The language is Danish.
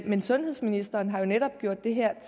men sundhedsministeren har jo netop gjort det her